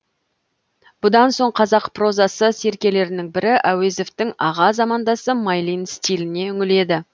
бұдан соң қазақ прозасы серкелерінің бірі әуезовтің аға замандасы майлин стиліне үңіледі